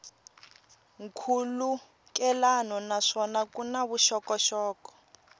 nkhulukelano naswona ku na vuxokoxoko